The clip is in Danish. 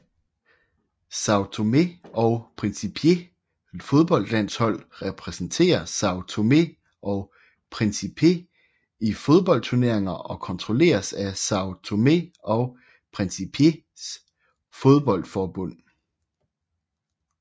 São Tomé og Príncipes fodboldlandshold repræsenterer São Tomé og Príncipe i fodboldturneringer og kontrolleres af São Tomé og Príncipes fodboldforbund